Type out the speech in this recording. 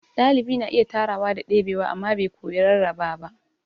Dalibi na iya tarawa da debewa amma bai koyi rarraba ba.